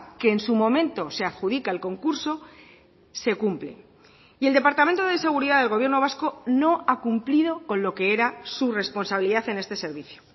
que en su momento se adjudica el concurso se cumplen y el departamento de seguridad del gobierno vasco no ha cumplido con lo que era su responsabilidad en este servicio